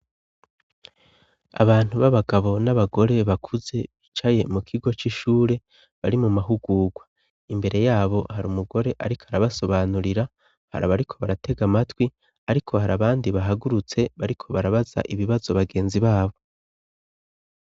Abantu b'abagabo n'abagore bakuze bicaye mu kigo c'ishure bari mu mahugugwa imbere yabo hari umugore ariko arabasobanurira hari abariko baratega amatwi ariko hari abandi bahagurutse bariko barabaza ibibazo bagenzi babo.